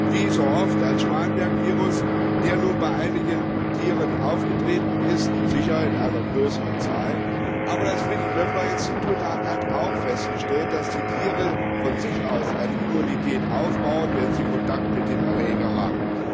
Wir haben wie so oft einen Schmallenberg Virus, der nur bei einigen Tieren aufgetreten ist, sicher, einer größeren Zahl, aber das Friedrich Loeffler Institut hat auch festgestellt, dass die Tiere von sich aus eine Immunität aufbauen, wenn sie Kontakt mit dem Erreger haben.